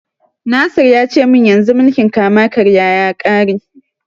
Nasir ya ce mun yanzu mulkin kama-karya ya ƙare.